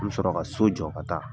An bɛ sɔrɔ ka so jɔ ka taa